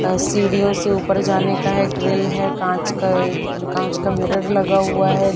अ सीढ़ियों से ऊपर जाने का है ग्रिल है कांच कै कांच का मीरर लगा हुआ है।